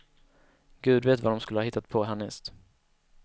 Gud vet, vad de skulle ha hittat på härnäst.